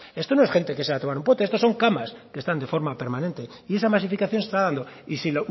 esto no es gente que se va a tomar un pote esto son camas que están de forma permanente y esa masificación se está dando y si